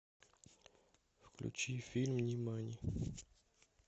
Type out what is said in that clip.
включи фильм нимани